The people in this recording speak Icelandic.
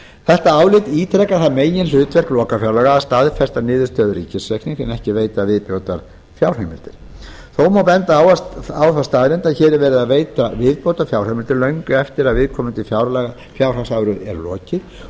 þetta álit ítrekar það meginhlutverk lokafjárlaga að staðfesta niðurstöður ríkisreiknings en ekki veita viðbótarfjárheimildir þá má benda á þá staðreynd að hér er verið að veita viðbótarfjárheimild löngu eftir að viðkomandi fjárhagsári er lokið og